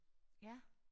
Ja